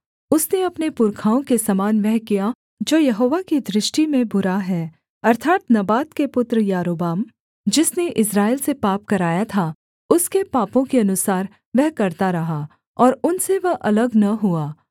उसने अपने पुरखाओं के समान वह किया जो यहोवा की दृष्टि में बुरा है अर्थात् नबात के पुत्र यारोबाम जिसने इस्राएल से पाप कराया था उसके पापों के अनुसार वह करता रहा और उनसे वह अलग न हुआ